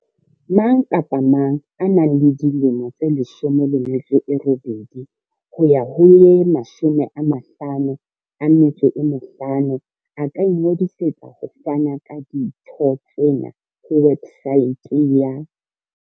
Mang kapa mang ya dilemo di 18 ho ya ho tse 55 a ka ingodisetsa ho fana ka ditho tsena ho websaete ya.